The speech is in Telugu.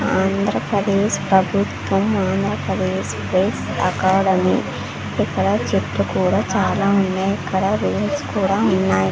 ఆంధ్రప్రదేశ్ ప్రభుత్వం ఆంధ్రప్రదేశ్ స్టేట్ అకాడమీ ఇక్కడ చెట్లు కూడా చాలా ఉన్నాయి ఇక్కడ రైల్స్ కూడా ఉన్నాయి.